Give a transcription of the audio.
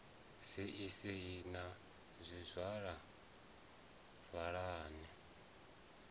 sei sei na zwizwala zwawe